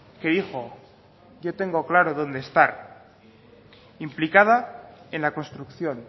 que dijo yo tengo claro donde estar implicada en la construcción